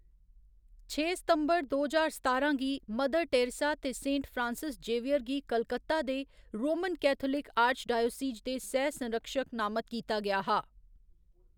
छे सितंबर दो ज्हार सतारां गी, मदर टेरेसा ते सेंट फ्रांसिस जेवियर गी कलकत्ता दे रोमन कैथोलिक आर्चडीओसीज दे सैह् संरक्षक नामत कीता गेआ हा।